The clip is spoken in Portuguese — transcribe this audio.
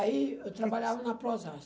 Aí eu trabalhava na Prozasco.